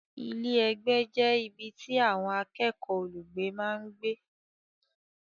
Ilé-ìgbé jẹ́ ibi tí àwọn akẹ́kọ̀ọ́ olùgbé máa ń gbé.